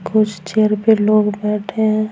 कुछ चेयर पे लोग बैठे हैं ।